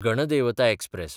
Ganadevata express